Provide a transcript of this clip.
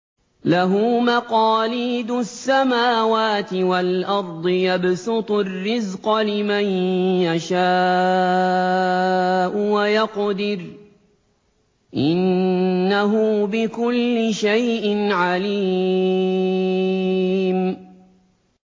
لَهُ مَقَالِيدُ السَّمَاوَاتِ وَالْأَرْضِ ۖ يَبْسُطُ الرِّزْقَ لِمَن يَشَاءُ وَيَقْدِرُ ۚ إِنَّهُ بِكُلِّ شَيْءٍ عَلِيمٌ